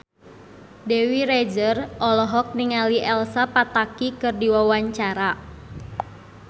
Dewi Rezer olohok ningali Elsa Pataky keur diwawancara